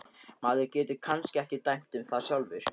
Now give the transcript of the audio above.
Maður getur kannski ekki dæmt um það sjálfur.